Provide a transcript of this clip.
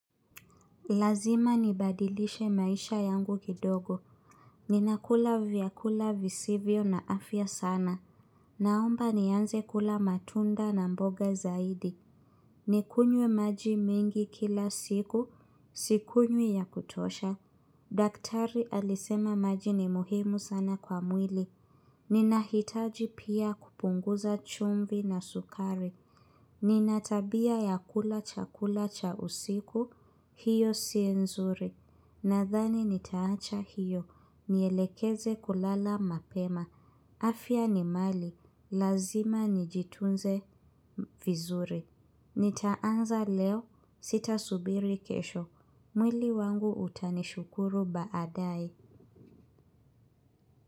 Lazima nibadilishe maisha yangu kidogo. Ninakula vyakula visivyo na afya sana. Naomba nianze kula matunda na mboga zaidi. Nikunye maji mingi kila siku, sikunywi ya kutosha. Daktari alisema maji ni muhimu sana kwa mwili. Ninahitaji pia kupunguza chumvi na sukari. Ninatabia ya kula chakula cha usiku, hiyo sienzuri. Nathani nitaacha hiyo niyelekeze kulala mapema afya ni mali lazima nijitunze vizuri nitaanza leo sita subiri kesho mwili wangu utanishukuru baadae.